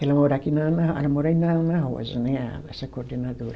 Ela mora aqui na na, ela mora aí na na Rosa, né, a essa coordenadora.